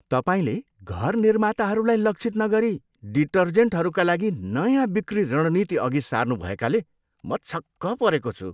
तपाईँले घर निर्माताहरूलाई लक्षित नगरी डिटर्जेन्टहरूका लागि नयाँ बिक्री रणनीति अघि सार्नु भएकाले म छक्क परेको छु।